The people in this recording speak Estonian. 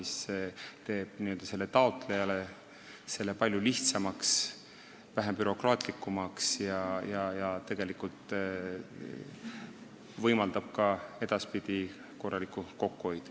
See teeb asja taotlejale palju lihtsamaks ja vähem bürokraatlikuks ning võimaldab tegelikult edaspidi ka korralikku kokkuhoidu.